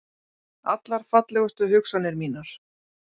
Allar fallegustu hugsanir mínar.